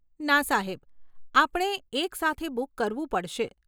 ના સાહેબ, આપણે એક સાથે બુક કરવું પડશે.